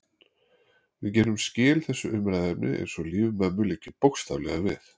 Við gerum skil þessu umræðuefni eins og líf mömmu liggi bókstaflega við.